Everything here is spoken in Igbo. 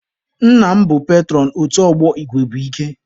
Nna m bụ petụrọn otu ọgbọ igwe bụ ike.